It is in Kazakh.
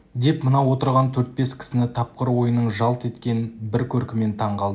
деп мынау отырған төрт-бес кісіні тапқыр ойының жалт еткен бір көркімен таң қалдырды